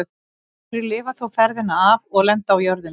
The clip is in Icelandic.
Nokkrir lifa þó ferðina af og lenda á jörðinni.